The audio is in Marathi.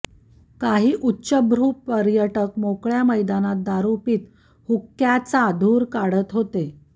काही उच्चभ्रु पर्यटक मोकळ्या मैदानात दारु पित हुक्क्याचा धूर काढत होते